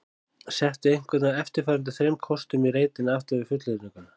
Settu einhvern af eftirfarandi þremur kostum í reitinn aftan við fullyrðinguna